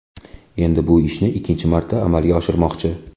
Endi bu ishni ikkinchi marta amalga oshirishmoqchi.